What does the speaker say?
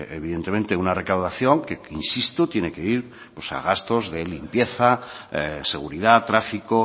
evidentemente una recaudación que insisto tiene que ir a gastos de limpieza seguridad tráfico